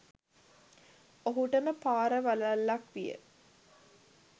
ඔහුටම පරාවලල්ලක් විය.